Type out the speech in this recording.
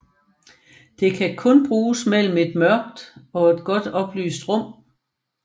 Det kan kun bruges mellem et mørkt og et godt oplyst rum